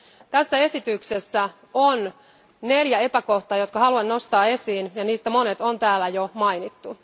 Tässä esityksessä on neljä epäkohtaa, jotka haluan nostaa esiin ja joista monet on täällä jo mainittu.